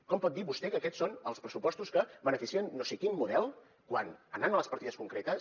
com pot dir vostè que aquests són els pressupostos que beneficien no sé quin model quan anant a les partides concretes